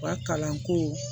U ka kalanko